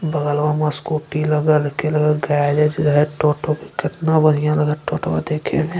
बगलवा म असकूटी लगल है के लगल है गैरेज है टोटो के केतना बढ़िया लगअ टोटवा देखे में।